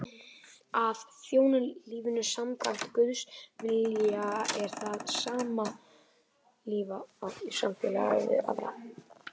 Að þjóna lífinu samkvæmt Guðs vilja er það sama og lifa í samfélagi við aðra.